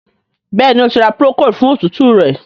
Béèni O tí ra Procold fún òtútù rẹ.